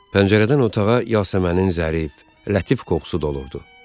Pəncərədən otağa yasəmənin zərif, lətif qoxusu dolurdu.